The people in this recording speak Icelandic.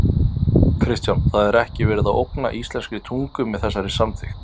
Kristján: Það er ekki verið að ógna íslenskri tungu með þessari samþykkt?